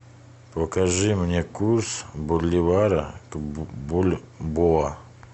покажи мне курс боливара к бальбоа